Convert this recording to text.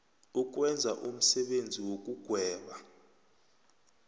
ukwenza umsebenzi wokugweba